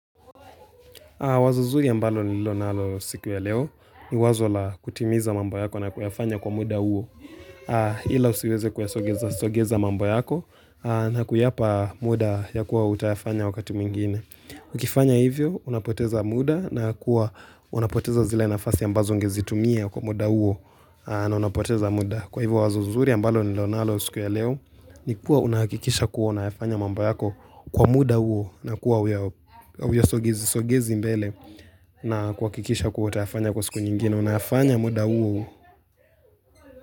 Wazo zuri ambalo ni lonalo siku ya leo ni wazo la kutimiza mambo yako na kuyafanya kwa muda uo Hila usiweze kuyasogeza mambo yako na kuyapa muda ya kuwa utayafanya wakati mwingine Ukifanya hivyo unapoteza muda na kuwa unapoteza zile nafasi ambazo ungezitumia kwa muda uo na unapoteza muda Kwa hivyo wazo zuri ambalo ni lonalo siku ya leo ni kuwa unahakikisha kuwa una yafanya mambo yako kwa muda uo na kuwa uya sogezi sogezi mbele na kuakikisha kuwa utayafanya kwa siku nyingine Unayafanya muda uo uu.